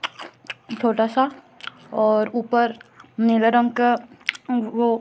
छोटा सा और ऊपर नीले रंग का वो--